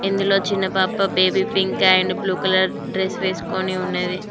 ఇందులో చిన్న పాప baby pink and blue colour dress వేసుకోని ఉన్నది.